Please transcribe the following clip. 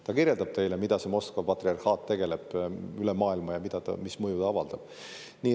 Ta kirjeldab teile, millega see Moskva patriarhaat tegeleb üle maailma ja mis mõju ta avaldab.